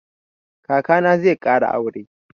Kaka na zai ƙara aure.